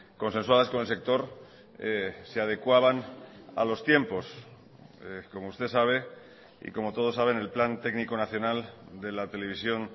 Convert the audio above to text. consensuadas con el sector se adecuaban a los tiempos como usted sabe y como todos saben el plan técnico nacional de la televisión